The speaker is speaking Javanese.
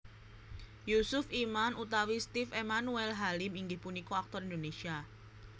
Yusuf Iman utawi Steve Emmanuel Halim inggih punika aktor Indonesia